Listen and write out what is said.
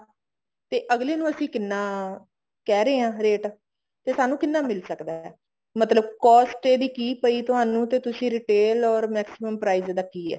ਤੇ ਅਗਲੇ ਨੂੰ ਅਸੀਂ ਕਿੰਨਾ ਕਹਿ ਰਹੇ ਹਾਂ ਰੇਟ ਤੇ ਸਾਨੂੰ ਕਿੰਨਾ ਮਿਲ ਸਕਦਾ ਹੈ ਮਤਲਬ cost ਇਹਦੀ ਕੀ ਪਈ ਤੁਹਾਨੂੰ ਤੇ ਤੁਸੀਂ retail or maximum price ਇਹਦਾ ਕੀ ਹੈ